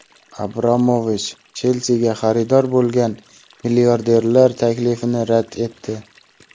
Abramovich "Chelsi"ga xaridor bo‘lgan milliarderlar taklifini rad etdi.